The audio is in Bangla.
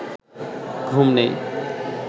ঘুম নেই